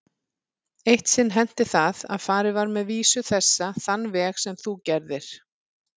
Eitt sinn henti það að farið var með vísu þessa þann veg sem þú gerðir.